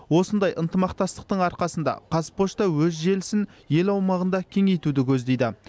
осындай ынтымақтастықтың арқасында қазпошта өз желісін ел аумағында кеңейтуді көздейді